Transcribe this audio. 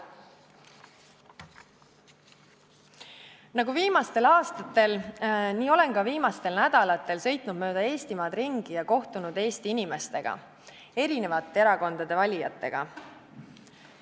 Nagu viimastel aastatel, nii olen ka viimastel nädalatel sõitnud mööda Eestimaad ringi ja kohtunud Eesti inimestega, erinevate erakondade valijatega.